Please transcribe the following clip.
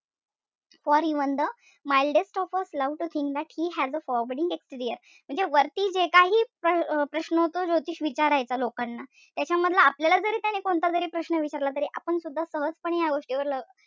For even the mildest of s loves to think that he has a forbidding exterior म्हणजे वरती जे काही अं प्रश्न तो ज्योतिष विचारायचा लोकांना. त्याच्यामधील आपल्याला जरी त्याने कोणता जरी प्रश्न विचारला तरी आपण सुद्धा सहजपणे या गोष्टीवर,